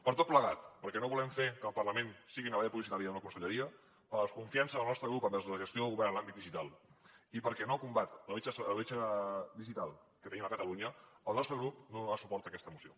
per tot plegat perquè no volem fer que el parlament sigui una tanca publicitària d’una conselleria per la desconfiança del nostre grup envers la gestió del govern en l’àmbit digital i perquè no combat la bretxa digital que tenim a catalunya el nostre grup no donarà suport a aquesta moció